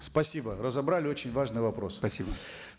спасибо разобрали очень важный вопрос спасибо